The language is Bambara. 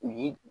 U ye